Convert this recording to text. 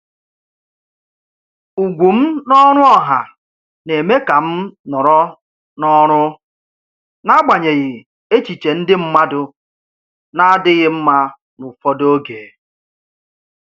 Ugwu m n’ọrụ ọha na-eme ka m nọrọ n’ọrụ, n’agbanyeghị echiche ndị mmadụ na-adịghị mma n’ụfọdụ oge.